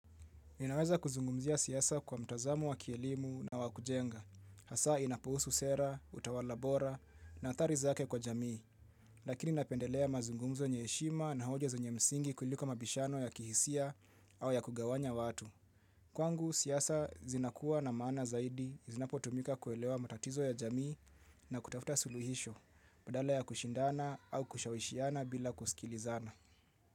Ninaweza kuzungumzia siasa kwa mtazamo wa kielimu na wakujenga. Hasa inapohusu sera, utawalabora na athari zake kwa jamii. Lakini napendelea mazungumzo yenye heshima na hoja zenye msingi kuliko mabishano ya kihisia au ya kugawanya watu. Kwangu, siasa zinakuwa na maana zaidi zinapotumika kuelewa matatizo ya jamii na kutafuta suluhisho. Badala ya kushindana au kushawishiana bila kusikilizana.